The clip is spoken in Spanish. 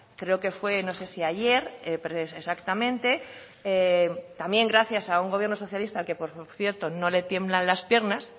creo que fue no sé si ayer exactamente también gracias a un gobierno socialista al que por cierto no le tiemblan las piernas